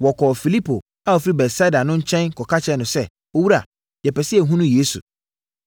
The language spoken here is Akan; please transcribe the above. Wɔkɔɔ Filipo a ɔfiri Betsaida no nkyɛn kɔka kyerɛɛ no sɛ, “Owura, yɛpɛ sɛ yɛhunu Yesu.”